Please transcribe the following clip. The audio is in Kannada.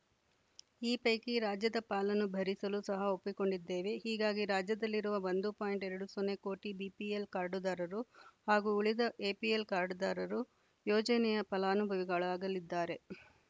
ಈ ಪೈಕಿ ರಾಜ್ಯದ ಪಾಲನ್ನು ಭರಿಸಲು ಸಹ ಒಪ್ಪಿಕೊಂಡಿದ್ದೇವೆ ಹೀಗಾಗಿ ರಾಜ್ಯದಲ್ಲಿರುವ ಒಂದು ಪಾಯಿಂಟ್ ಎರಡು ಸೊನ್ನೆ ಕೋಟಿ ಬಿಪಿಎಲ್‌ ಕಾರ್ಡ್‌ದಾರರು ಹಾಗೂ ಉಳಿದ ಎಪಿಎಲ್‌ ಕಾರ್ಡ್‌ದಾರರು ಯೋಜನೆಯ ಫಲಾನುಭವಿಗಳಾಗಲಿದ್ದಾರೆ